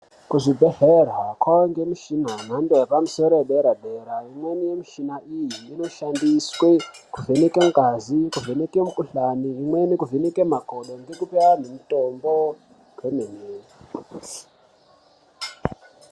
Kuzvibhedhlera kwange mishina yemhando yepamusoro edera dera imweni yemishina iyi inoshandiswe kuvheneke ngazi kuvheneke mukhuhlani imweni inoshandiswe kuvheneke makodo ngekupe anhu mutombo kwemene.